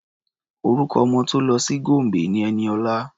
Orúkọ ọmọ tó lọ sí Gombe ni Ẹniọlá.